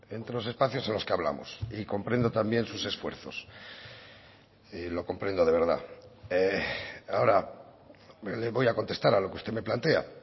entre los espacios en los que hablamos y comprendo también sus esfuerzos y lo comprendo de verdad ahora le voy a contestar a lo que usted me plantea